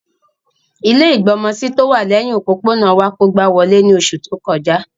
Ilẹ́ ìgbọmọsí tówà lẹhin òpópónà wa kógba wolé ni oṣu to kọja.